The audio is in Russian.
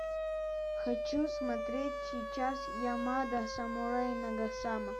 хочу смотреть сейчас ямада самурай нагасама